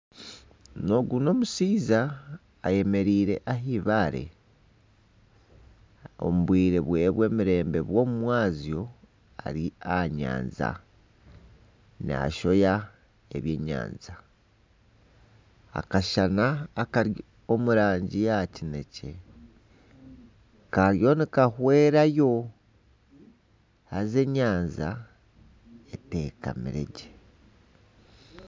Ogu n'omushaija ayemereire ah'ibaare omu bwiire bweye bw'emirembe bw'omumwazyo. Ari aha nyanja nashoha ebyenyanja. Akashana akari omu rangi ya kinekye kariyo nikahwera yo haza enyanja etekamire gye.